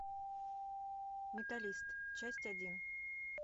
менталист часть один